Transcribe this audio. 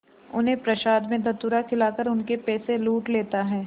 उन्हें प्रसाद में धतूरा खिलाकर उनके पैसे लूट लेता है